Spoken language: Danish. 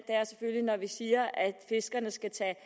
er selvfølgelig når vi siger at fiskerne skal tage